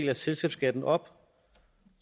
af selskabsskatten op